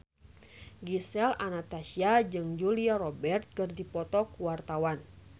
Gisel Anastasia jeung Julia Robert keur dipoto ku wartawan